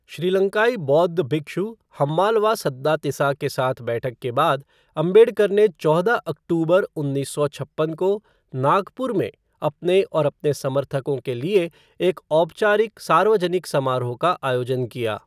श्रीलंकाई बौद्ध भिक्षु हम्मालवा सद्दातिसा के साथ बैठक के बाद, अम्बेडकर ने चौदह अक्तूबर उन्नीस सौ छप्पन को नागपुर में अपने और अपने समर्थकों के लिए एक औपचारिक सार्वजनिक समारोह का आयोजन किया।